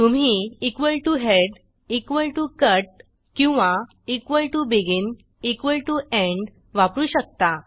तुम्ही head cut किंवा begin end वापरू शकता